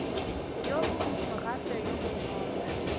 yo borutho gape yo bonolo